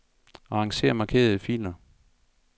Arranger markerede filer.